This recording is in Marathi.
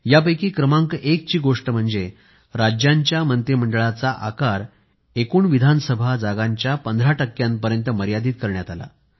यापैकी पहिली गोष्ट म्हणजे राज्यांच्या मंत्रिमंडळाचा आकार एकूण विधानसभा जागांच्या 15 टक्क्यांपर्यंत मर्यादित करण्यात आला